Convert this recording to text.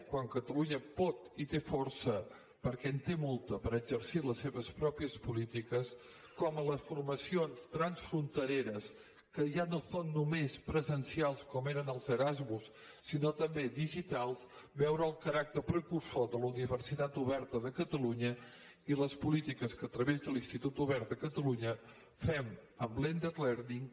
quan catalunya pot i té força perquè en té molta per exercir les seves pròpies polítiques com en les formacions transfrontereres que ja no són només presencials com ho eren els erasmus sinó també digitals veure el caràcter precursor de la universitat oberta de catalunya i les polítiques que a través de l’institut obert de catalunya fem amb blended learning